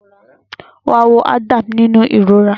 Wá wo Adam nínú ìrora